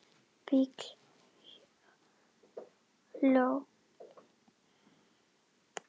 Bill hló.